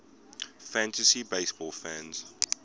fantasy baseball fans